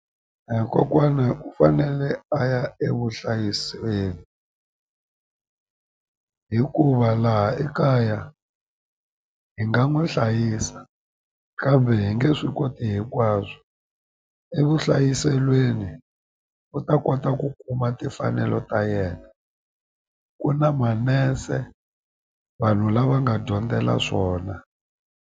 A hi kokwana u fanele a ya e vuhlayiseni hikuva laha ekaya hi nga n'wi hlayisa kambe hi nge swi koti hinkwaswo evuhlayiselweni u ta kota ku kuma timfanelo ta yena ku na manese vanhu lava nga dyondzela swona.